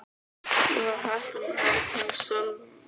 Ég var heppin að hafa kynnst Sölva.